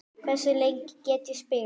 Hversu lengi get ég spilað?